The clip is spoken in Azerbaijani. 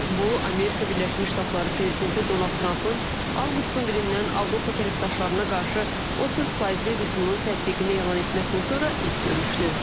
Bu, Amerika Birləşmiş Ştatları prezidenti Donald Trampın avqustun birindən Avropa tərəfdaşlarına qarşı 30 faizli rüsumun tətbiqini elan etməsindən sonra ilk görüşdür.